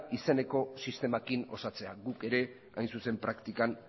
izeneko sistemarekin osatzea guk ere hain zuzen praktikan